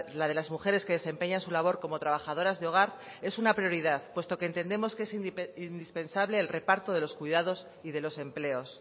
la de las mujeres que desempeñan su labor como trabajadoras de hogar es una prioridad puesto que entendemos que es indispensable el reparto de los cuidados y de los empleos